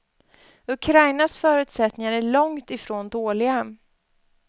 Ukrainas förutsättningar är långt ifrån dåliga.